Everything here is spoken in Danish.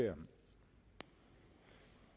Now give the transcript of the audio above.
der